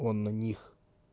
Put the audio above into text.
он на них